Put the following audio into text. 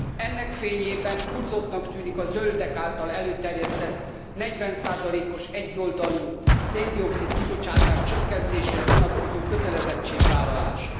Ennek fényében túlzottnak tűnik a zöldek által előterjesztett 40 os egyoldalú szén dioxid kibocsátás csökkentésére vonatkozó kötelezettségvállalás.